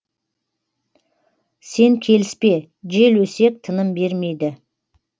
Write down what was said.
сен келіспе жел өсек тыным бермейді